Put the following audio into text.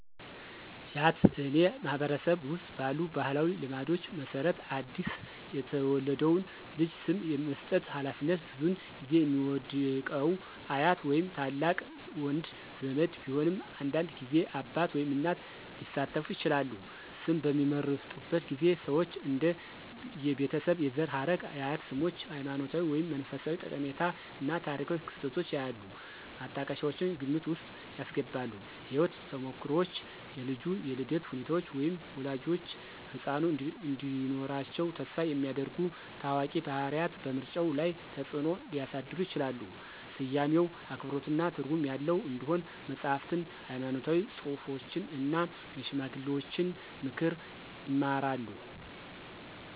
ያትአኔ ማህበረሰብ ውስጥ ባሉ ባህላዊ ልማዶች መሰረት አዲስ የተወለደውን ልጅ ስም የመስጠት ሃላፊነት ብዙውን ጊዜ የሚወድቀው አያት ወይም ታላቅ ወንድ ዘመድ ቢሆንም አንዳንድ ጊዜ አባት ወይም እናት ሊሳተፉ ይችላሉ። ስም በሚመርጡበት ጊዜ ሰዎች እንደ የቤተሰብ የዘር ሐረግ፣ የአያት ስሞች፣ ሃይማኖታዊ ወይም መንፈሳዊ ጠቀሜታ እና ታሪካዊ ክስተቶች ያሉ ማጣቀሻዎችን ግምት ውስጥ ያስገባሉ። የህይወት ተሞክሮዎች, የልጁ የልደት ሁኔታዎች, ወይም ወላጆች ህጻኑ እንዲኖራቸው ተስፋ የሚያደርጉ ታዋቂ ባህሪያት በምርጫው ላይ ተጽእኖ ሊያሳድሩ ይችላሉ. ስያሜው አክብሮትና ትርጉም ያለው እንዲሆን መጽሐፍትን፣ ሃይማኖታዊ ጽሑፎችን እና የሽማግሌዎችን ምክር ይማራሉ።